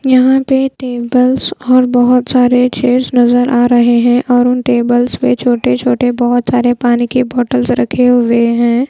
यहाँ पे टेबल्स और बहोत सारे चेयर्स नजर आ रहे हैं और उन टेबल्स पे छोटे-छोटे बहोत सारे पानी की बॉटल्स से रखे हुए हैं।